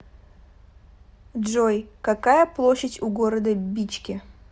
джой какая площадь у города бичке